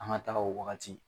An ga taga o wagati